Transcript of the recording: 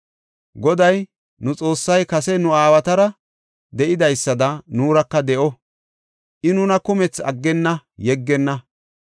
Goday nu Xoossay kase nu aawatara de7idaysada nuuraka de7o; I nuna kumethi aggenna; yeggenna.